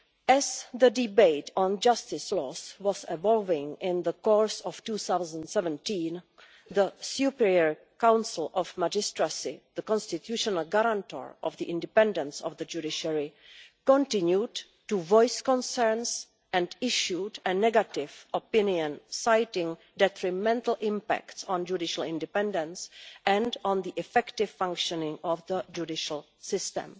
As the debate on justice laws was evolving in the course of 2017, the Superior Council of the Magistracy the constitutional guarantor of the independence of the judiciary continued to voice concerns and issued a negative opinion citing detrimental impacts on judicial independence and on the effective functioning of the judicial system.